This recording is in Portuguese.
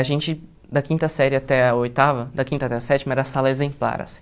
A gente, da quinta série até a oitava, da quinta até a sétima, era sala exemplar, assim.